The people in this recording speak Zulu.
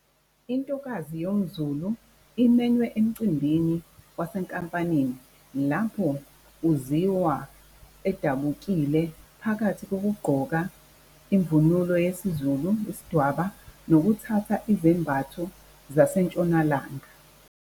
Intokazi yomZulu imenywe emicimbini wasenkampanini lapho uziwa edabukile phakathi kokugqoka imvunulo yesiZulu, isidwaba, nokuthatha izembatho zaseNtshonalanga.